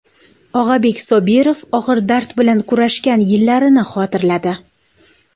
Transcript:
Og‘abek Sobirov og‘ir dard bilan kurashgan yillarini xotirladi .